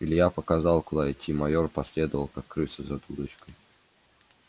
илья показал куда идти майор последовал как крыса за дудочкой